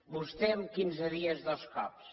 vostè en quinze dies dos cops